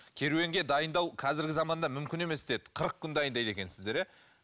керуенге дайындау қазіргі заманда мүмкін емес деді қырық күн дайындайды екенсіздер иә